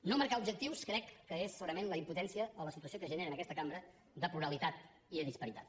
no marcar objectius crec que és segurament la impotència o la situació que es genera en aquesta cambra de pluralitat i de disparitat